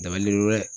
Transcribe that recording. Dabalibe